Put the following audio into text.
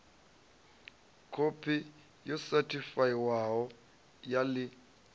khophi yo sethifaiwaho ya ḽi